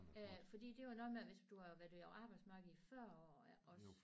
Øh fordi det var noget med hvis du havde været på arbejdsmarkedet i 40 år også